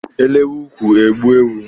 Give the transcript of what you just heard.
E lewe ukwu e gbuo ewu.